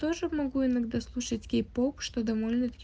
тоже могу иногда слушать кей-поп что довольно таки